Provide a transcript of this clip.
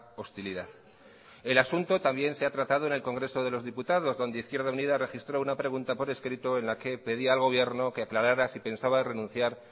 hostilidad el asunto también se ha tratado en el congreso de los diputados donde izquierda unida registró una pregunta por escrito en la que pedía al gobierno que aclarara si pensaba renunciar